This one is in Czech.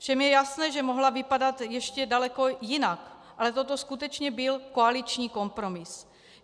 Všem je jasné, že mohla vypadat ještě daleko jinak, ale toto skutečně byl koaliční kompromis.